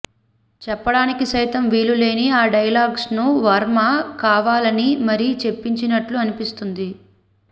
చెప్పడానికి సైతం వీలు లేని ఆ డైలాగ్స్ను వర్మ కావాలని మరీ జొప్పించినట్లుగా అనిపిస్తుంది